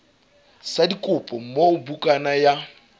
sa dikopo moo bukana ya